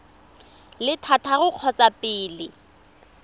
le thataro ka kgotsa pele